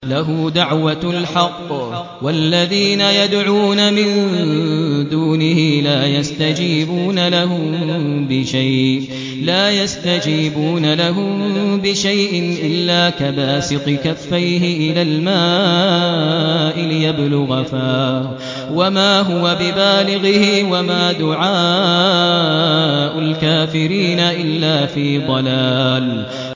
لَهُ دَعْوَةُ الْحَقِّ ۖ وَالَّذِينَ يَدْعُونَ مِن دُونِهِ لَا يَسْتَجِيبُونَ لَهُم بِشَيْءٍ إِلَّا كَبَاسِطِ كَفَّيْهِ إِلَى الْمَاءِ لِيَبْلُغَ فَاهُ وَمَا هُوَ بِبَالِغِهِ ۚ وَمَا دُعَاءُ الْكَافِرِينَ إِلَّا فِي ضَلَالٍ